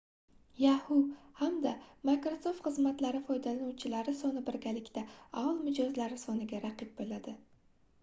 yahoo hamda microsoft xizmatlari foydalanuvchilari soni birgalikda aol mijozlari soniga raqib boʻladi